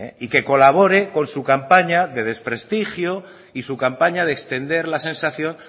y que colabore con su campaña de desprestigio y su campaña de extender la sensación